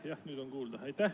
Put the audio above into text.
Jah, nüüd on kuulda.